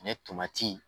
tomati